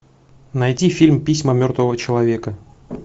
найти фильм письма мертвого человека